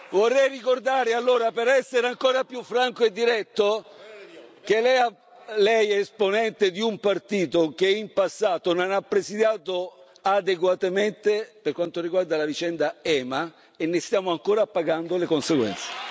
Vorrei ricordare, allora, per essere ancora più franco e diretto, che lei è esponente di un partito che in passato non ha presidiato adeguatamente per quanto riguarda la vicenda EMA, e ne stiamo ancora pagando le conseguenze.